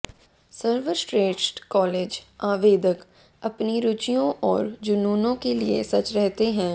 सर्वश्रेष्ठ कॉलेज आवेदक अपनी रुचियों और जुनूनों के लिए सच रहते हैं